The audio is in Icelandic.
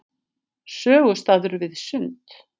Sögustaður við Sund.